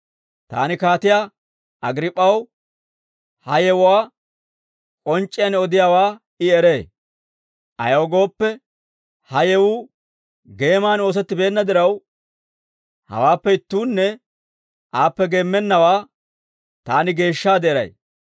Taani Kaatiyaa Agriip'p'aw ha yewuwaa k'onc'c'iyaan odiyaawaa I eree; ayaw gooppe, ha yewuu geeman oosettibeenna diraw, hawaappe ittuunne aappe geemmennawaa taani geeshshaade eray.